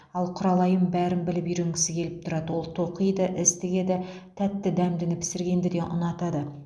ал құралайым бәрін біліп үйренгісі келіп тұрады ол тоқиды іс тігеді тәтті дәмдіні пісіргенді де ұнатады